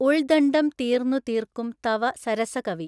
ഉൾദണ്ഡം തീർന്നുതീർക്കും തവ സരസകവി